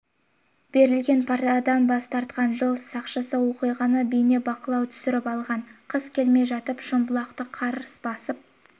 берілген парадан бас тартқан жол сақшысы оқиғаны бейнебақылауға түсіріп алған қыс келмей жатып шымбұлақты қар басып